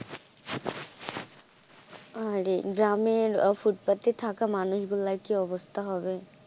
আরে গ্রামের ফুটপাতে থাকা মানুষ গুলার কি অবস্থা হবে.